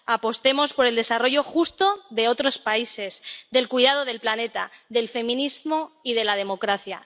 Apostemos por el desarrollo justo de otros países, del cuidado del planeta, del feminismo y de la democracia.